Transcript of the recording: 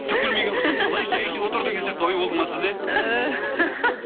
түк білмеген құсап қалай шәй ішіп отыр деген сияқты ой болды ма сізде